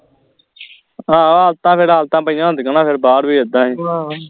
ਹਾਂ ਆਦਤਾਂ ਫੇਰ ਆਦਤਾਂ ਪਈਆਂ ਹੁੰਦੀਆਂ ਨਾ ਫੇਰ ਬਾਹਰ ਵੀ ਇੱਦਾਂ ਹੀ ਹਾਂ